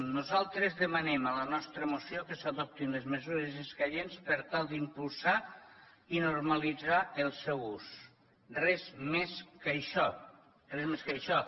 nosaltres demanem en la nostra moció que s’adoptin les mesures escaients per tal d’impulsar ne i normalitzar ne l’ús res més que això res més que això